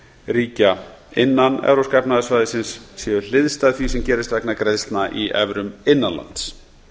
ríkja innan e e s séu hliðstæð því sem gerist vegna greiðslna í evrum innan lands